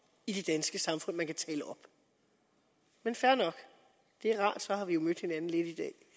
i det danske samfund man kan tale op men fair nok det er rart så har vi jo mødt hinanden lidt